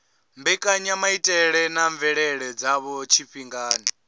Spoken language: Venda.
mbekanyamaitele na mvelele dzadzo tshifhingani